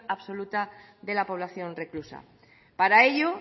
absoluta de la población reclusa para ello